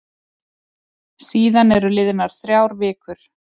Síðan eru liðnar þrjár vikur.